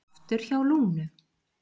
Aftur hjá Lúnu